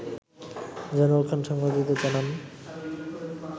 জয়নুল খান সাংবাদিকদের জানান